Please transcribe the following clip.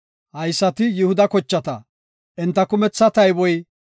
Haysati Yihuda kochata; enta kumetha tayboy 76,500.